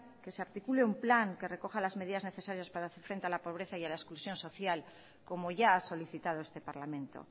que se articule un plan que recoja las medidas necesarias para hacer frente a la pobreza y a la exclusión social como ya ha solicitado este parlamento